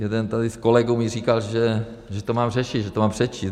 jeden tady z kolegů mi říkal, že to mám řešit, že to mám přečíst.